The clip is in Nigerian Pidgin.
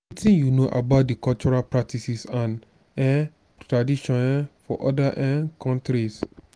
wetin you know about di cultural practices and um traditions um of oda um countries?